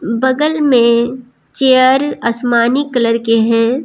बगल में चेयर आसमानी कलर के हैं।